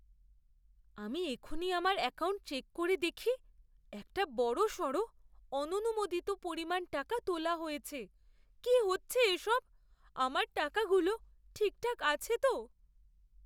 আমি এক্ষুনি আমার অ্যাকাউন্ট চেক করে দেখি একটা বড়সড় অননুমোদিত পরিমাণ টাকা তোলা হয়েছে। কী হচ্ছে এসব? আমার টাকাগুলো ঠিকঠাক আছে তো?